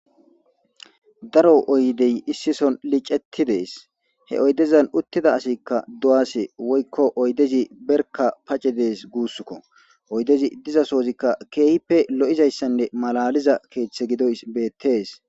daro oydey issison licetti dees he oydezan uttida asikka do7ase woykko oydezi berka pace dees guusskko oydezi diza soozikka keehippe lo7izayssanne malaliza keeththe gidoy beettees